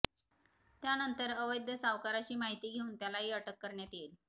त्यानंतर अवैध सावकाराची माहिती घेऊन त्यालाही अटक करण्यात येईल